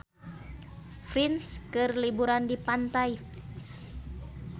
Prince keur liburan di pantai